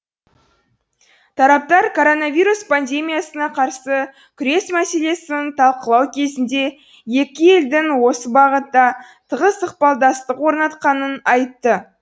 тараптар коронавирус пандемиясына қарсы күрес мәселесін талқылау кезінде екі елдің осы бағытта тығыз ықпалдастық орнатқанын айтты